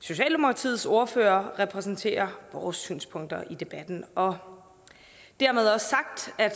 socialdemokratiets ordfører repræsenterer vores synspunkter i debatten og dermed også sagt at